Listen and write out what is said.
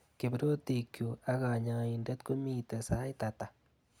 Kiprotikchu ak kanyaindet komiite sait ata?